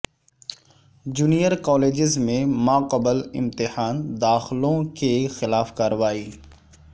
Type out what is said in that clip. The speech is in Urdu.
جونیئر کالجس میں ماقبل امتحان داخلوں کے خلاف کارروائی